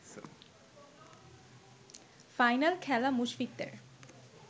final খেলা মুশফিকদের